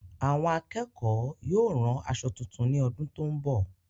Àwọn akẹ́kọ̀ọ́ yóò ràn aṣọ tuntun ní ọdún tó n bọ